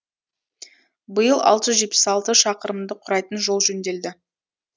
биыл алты жүз жетпіс алты шақырымды құрайтын жол жөнделді